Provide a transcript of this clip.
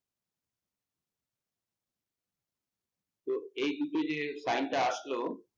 তো এই দুটো যে time টা আসলো